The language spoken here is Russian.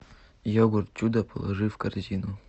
йогурт чудо положи в корзину